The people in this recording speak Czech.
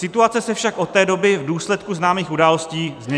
Situace se však od té doby v důsledku známých událostí změnila.